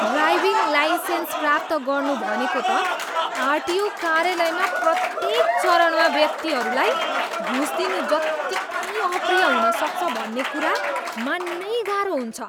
Driving licence प्राप्त गर्नु भनेको त आरटिओ कार्यालयमा प्रत्येक चरणमा व्यक्तिहरूलाई घुस दिनु जत्तिकै अप्रिय हुन सक्छ भन्ने कुरा मान्नै गाह्रो हुन्छ।